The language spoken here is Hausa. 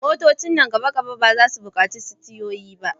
Motocin nan gaba ba za su buƙaci sitiyoyi ba.